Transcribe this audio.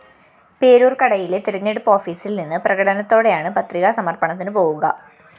പേരൂര്‍ക്കടയിലെ തെരഞ്ഞെടുപ്പ് ഓഫീസില്‍ നിന്ന് പ്രകടനത്തോടെയാണ് പത്രികാ സമര്‍പ്പണത്തിനു പോകുക